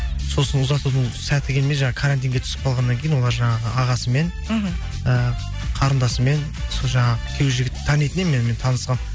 сосын ұзатудың сәті келмей жаңа карантинге түсіп қалғаннан кейін олар жаңағы ағасымен мхм і қарындасымен сол жаңа күйеу жігітті танитын едім мен танысқанмын